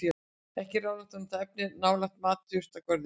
Ekki er ráðlegt að nota efnið nálægt matjurtagörðum.